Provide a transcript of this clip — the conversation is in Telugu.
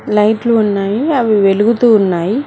లైట్లు ఉన్నాయి అవి వెలుగుతూ ఉన్నాయి.